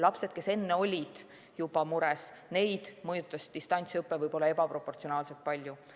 Lapsi, kes juba enne olid mures, mõjutas distantsõpe võib-olla ebaproportsionaalselt palju.